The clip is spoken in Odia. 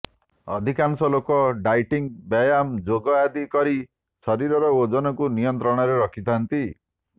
ଅଧିକାଂଶ ଲୋକ ଡାଇଟିଂ ବ୍ୟାୟାମ ଯୋଗ ଆଦି କରି ଶରୀରର ଓଜନକୁ ନିୟନ୍ତ୍ରଣରେ ରଖି ଥାଆନ୍ତି